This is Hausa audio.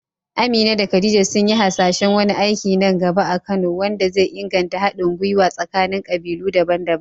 Amina da Khadija sun yi hasashen wani aiki nan gaba a Kano wanda zai inganta haɗin gwiwa tsakanin kabilu daban-daban.